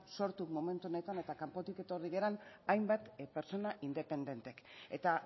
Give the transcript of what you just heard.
sortu momentu honetan eta kanpotik etorri garen hainbat pertsona independentek eta